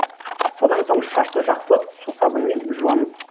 содан соң шашты жақсылап сусабынмен жуамыз